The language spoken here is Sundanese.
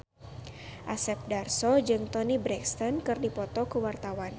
Asep Darso jeung Toni Brexton keur dipoto ku wartawan